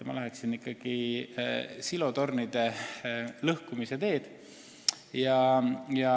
Ma läheksin silotornide lõhkumise teed.